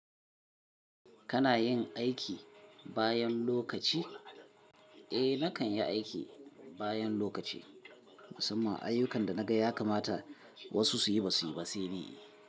Kana yin aiki bayan lokaci? Eh nakan yi aiki bayan lokaci, musamman ayyukan da naga ya kamata wasu suyi basu yi ba sai ni.